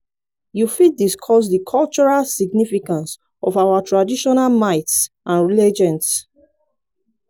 you fit discuss di cultural significance of our traditional myths and legends.